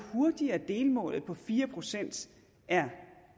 hurtigere delmålet på fire procent er